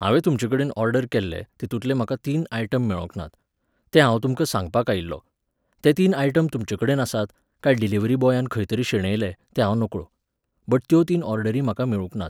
हांवे तुमचेकडेन ऑर्डर केल्ले, तितूंतले म्हाका तीन आयटम मेळोंक नात. तें हांव तुमका सांगपाक आयिल्लों. ते तीन आयटम तुमचेकडेन आसात, काय डिलिव्हरी बॉयान खंय तरी शेणयले तें हांव नकळो. बट त्यो तीन ऑर्डरी म्हाका मेळूंक नात.